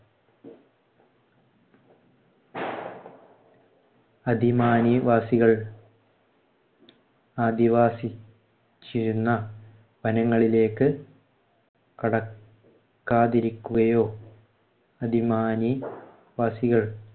വാസികൾ അധിവസിച്ചിരുന്ന വനങ്ങളിലേക്ക് കടക്കാതിരിക്കുകയോ വാസികൾ